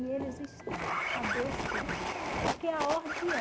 E eles estão adoecidos, porque a ordem é...